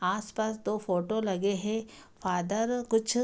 आस-पास दो फोटो लगे है फादर कुछ --